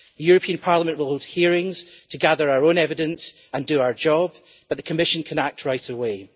The European Parliament will hold hearings to gather our own evidence and do our job, but the Commission can act right away.